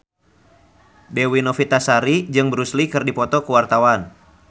Dewi Novitasari jeung Bruce Lee keur dipoto ku wartawan